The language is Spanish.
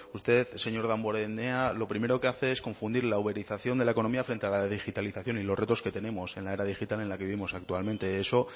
usted señor damborenea lo primero que hace es confundir la uberización de la economía frente a la de digitalización y los retos que tenemos en la era digital en la que vivimos actualmente eso